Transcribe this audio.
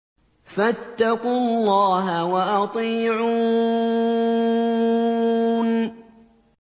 فَاتَّقُوا اللَّهَ وَأَطِيعُونِ